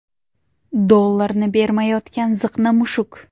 Dollarni bermayotgan ziqna mushuk.